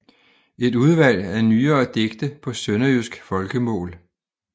Et udvalg af nyere digte på sønderjysk folkemål